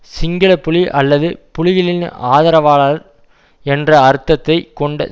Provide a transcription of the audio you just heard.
சிங்கள புலி அல்லது புலிகளின் ஆதரவாளர் என்ற அர்த்தத்தைக் கொண்ட